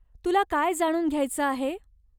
तुला काय जाणून घ्यायचं आहे?